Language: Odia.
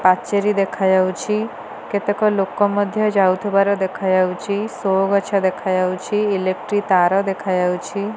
ପାଚେରୀ ଦେଖାଯାଉଛି କେତେକ ଲୋକ ମଧ୍ୟ ଯାଉଥିବାର ଦେଖାଯାଉଛି ଶୋ ଗଛ ଦେଖାଯାଉଛି ଇଲେକ୍ଟ୍ରିକ ତାର ଦେଖାଯାଉଛି।